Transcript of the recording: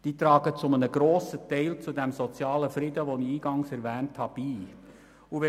Diese tragen zu einem grossen Teil zum von mir eingangs erwähnten sozialen Frieden bei.